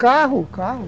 Carro, carro.